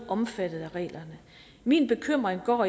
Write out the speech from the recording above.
omfattet af reglerne min bekymring går